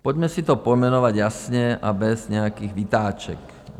Pojďme si to pojmenovat jasně a bez nějakých vytáček.